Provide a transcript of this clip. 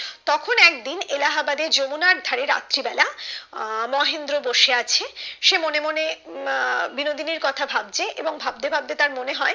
তখন একদিন এলাহাবাদে যমুনার ধারে রাত্রি বেলা আহ মহেন্দ্র বসে আছে সে মনে মনে আহ বিনোদিনীর কথা ভাবছে এবং ভাবতে ভাবতে তার মনে হয়